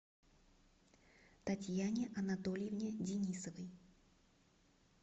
татьяне анатольевне денисовой